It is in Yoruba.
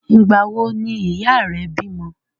Ìgbà wo ni ìyá rẹ bímọ?